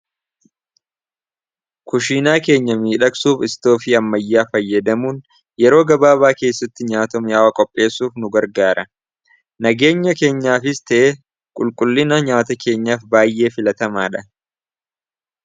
kushiinaa keenya miidhaqsuuf istoofii ammayyaa fayyadamuun yeroo gabaabaa keessatti nyaata miyaawa qopheessuuf nu gargaara nageenya keenyaa fis te'e qulqullina nyaata keenyaaf baay'ee filatamaa dha